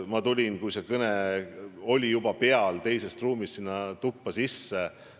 Ma tulin, kui see kõne oli juba alanud, teisest ruumist sinna ruumi sisse.